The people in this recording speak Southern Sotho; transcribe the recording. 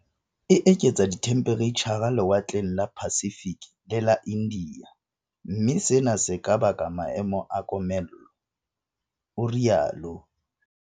"E eketsa dithemphereitjha lewatleng la Pacific le Ia India, mme sena se ka baka maemo a komello," o rialo.